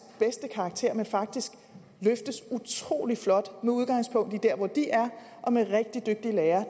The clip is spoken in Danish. bedste karakter men faktisk løftes utrolig flot med udgangspunkt i der hvor de er og med rigtig dygtige lærere